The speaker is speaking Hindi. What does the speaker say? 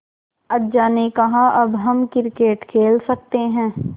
अज्जा ने कहा अब हम क्रिकेट खेल सकते हैं